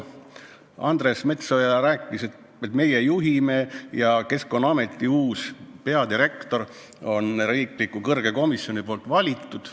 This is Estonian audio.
Andres Metsoja rääkis, et meie juhime ja Keskkonnaameti uus peadirektor on kõrge riikliku komisjoni valitud.